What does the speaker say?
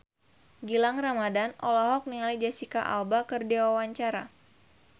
Gilang Ramadan olohok ningali Jesicca Alba keur diwawancara